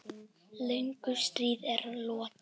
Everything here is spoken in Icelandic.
Löngu stríði er lokið.